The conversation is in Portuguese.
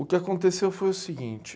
O que aconteceu foi o seguinte.